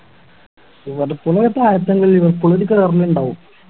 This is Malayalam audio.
ലിവർപൂൾ അങ്ങനെ താഴ്ത്തല്ലേ ലിവർപൂൾ ഒക്കെ കേറണുണ്ടാവും